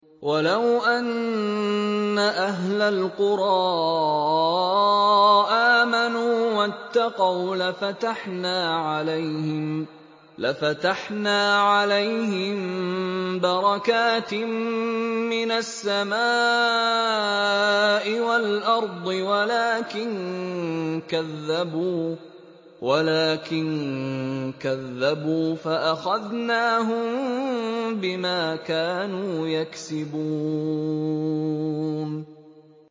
وَلَوْ أَنَّ أَهْلَ الْقُرَىٰ آمَنُوا وَاتَّقَوْا لَفَتَحْنَا عَلَيْهِم بَرَكَاتٍ مِّنَ السَّمَاءِ وَالْأَرْضِ وَلَٰكِن كَذَّبُوا فَأَخَذْنَاهُم بِمَا كَانُوا يَكْسِبُونَ